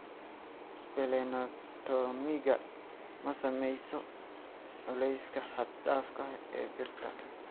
Splenectomiga ma saameynayso culeyska xad-dhaafka ah ee birta.